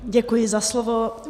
Děkuji za slovo.